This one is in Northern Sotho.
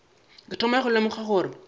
ke thoma go lemoga gore